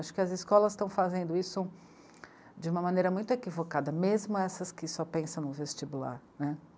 Acho que as escolas estão fazendo isso de uma maneira muito equivocada, mesmo essas que só pensam no vestibular, né.